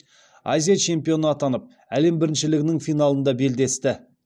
азия чемпионы атанып әлем біріншілігінің финалында белдесті